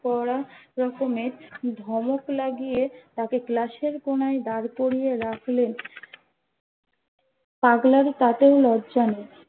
কড়া রকমের ধমক লাগিয়ে তাকে ক্লাস এর কোনায় দাঁড় করিয়ে রাখলেন পাগলার তাতেও লজ্জা নেই